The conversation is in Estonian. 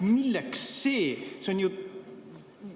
Milleks see?